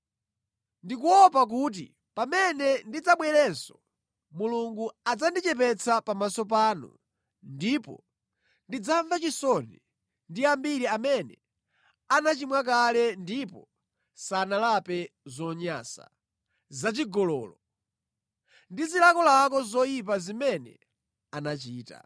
Ndikuopa kuti pamene ndidzabwerenso, Mulungu adzandichepetsa pamaso panu, ndipo ndidzamva chisoni ndi ambiri amene anachimwa kale ndipo sanalape zonyansa, zachigololo ndi zilakolako zoyipa zimene anachita.